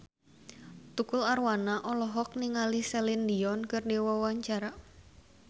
Tukul Arwana olohok ningali Celine Dion keur diwawancara